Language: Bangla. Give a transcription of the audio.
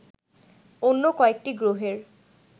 অন্য কয়েকটি গ্রহের